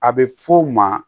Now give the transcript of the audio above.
A bɛ f'o ma